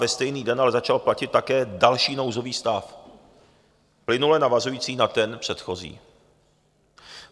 Ve stejný den ale začal platit také další nouzový stav plynule navazující na ten předchozí.